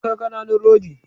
Akwai ƙananun rodi